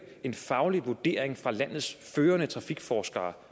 en faglig vurdering fra landets førende trafikforskere